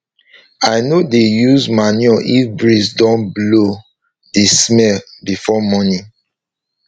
i no dey use manure if breeze don blow the smell before morning